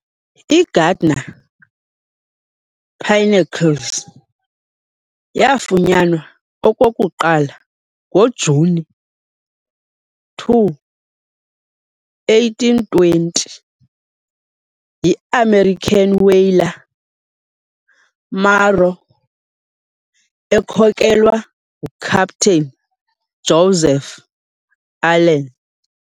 I-Gardner Pinnacles yafunyanwa okokuqala ngoJuni 2, 1820, yi-American whaler "Maro" ekhokelwa nguCaptain Joseph Allen.